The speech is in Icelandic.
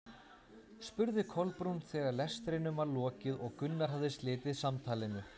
spurði Kolbrún þegar lestrinum var lokið og Gunnar hafði slitið samtalinu.